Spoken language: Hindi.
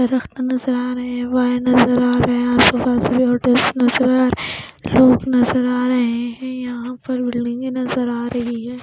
नज़र आ रहे है वायर नज़र आ रहे है आसपास लाइट्स नज़र आ रहे है लोग नज़र आ रहे है यहाँ पर बिल्डिंग नज़र आ रही है.